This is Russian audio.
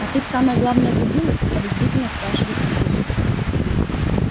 а ты в самое главное врубилась подозрительно спрашивает сергей